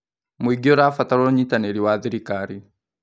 Mũingĩ ũrabatara ũnyitanĩri wa thirikari.